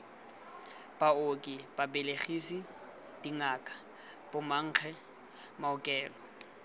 baoki babelegisi dingaka bomankge maokelo